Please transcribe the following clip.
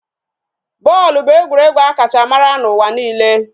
Bọọlụ bụ egwuregwu a kacha mara n'ụwa niile